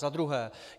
Za druhé.